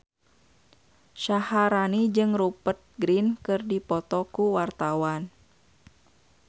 Syaharani jeung Rupert Grin keur dipoto ku wartawan